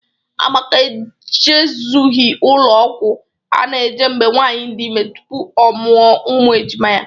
Amaka e jezoghi ụlọ ọgwọ a na-eje mgbe nwaanyị dị ime tupu ọ mụa ụmụ ejima ya.